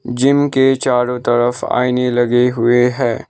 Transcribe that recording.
Gym के चारों तरफ आईने लगे हुए है।